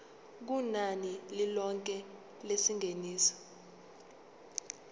kunani lilonke lengeniso